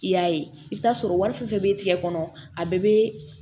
I y'a ye i bɛ t'a sɔrɔ wari fɛn fɛn bɛ tigɛ kɔnɔ a bɛɛ bɛ